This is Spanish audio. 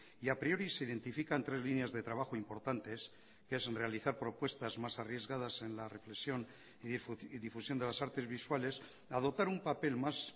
y a priori se identifican tres líneas de trabajo importantes que es realizar propuestas más arriesgadas en la represión y difusión de las artes visuales adoptar un papel más